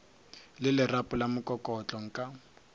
le lerapo la mokokotlo nka